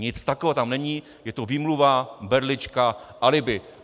Nic takového tam není, je to výmluva, berlička, alibi.